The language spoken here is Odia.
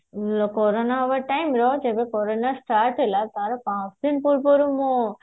କୋରୋନ ହବ time ରେ ଯେବେ କୋରୋନ start ହେଲା ତାର ପାଞ୍ଚଦିନ ପୂର୍ବରୁ ମୁଁ